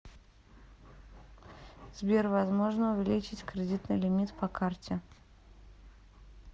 сбер возможно увеличить кредитный лимит по карте